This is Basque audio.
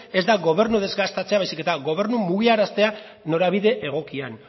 ez da gobernua desgastatzea baizik eta gobernua mugiaraztea norabide egokian